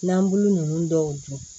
N'an bulu nunnu dɔw dun